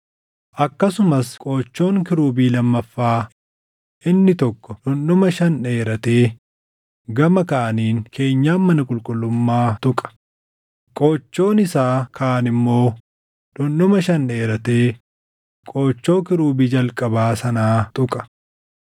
Akkasumas qoochoon kiirubii lammaffaa inni tokko dhundhuma shan dheeratee gama kaaniin keenyan mana qulqullummaa tuqa; qoochoon isaa kaan immoo dhundhuma shan dheeratee qoochoo kiirubii jalqabaa sanaa tuqa.